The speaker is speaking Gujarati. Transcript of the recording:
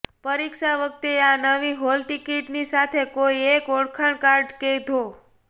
પરીક્ષા વખતે આ નવી હોલટિકીટની સાથે કોઈ એક ઓળખકાર્ડ કે ધો